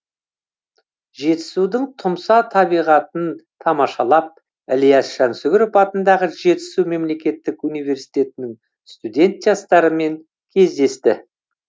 жетісудың тұмса табиғатын тамашалап ілияс жансүгіров атындағы жетісу мемлекеттік университетінің студент жастарымен кездесті